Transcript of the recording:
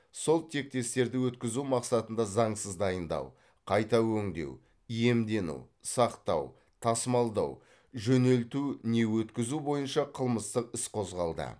сол тектестерді өткізу мақсатында заңсыз дайындау қайта өңдеу иемдену сақтау тасымалдау жөнелту не өткізу бойынша қылмыстық іс қозғалды